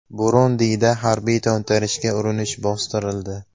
Burundida harbiy to‘ntarishga urinish bostirildi.